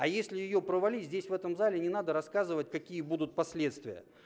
а если её провали здесь в этом зале не надо рассказывать какие будут последствия